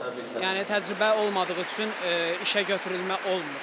Yəni təcrübə olmadığı üçün işə götürülmə olmur.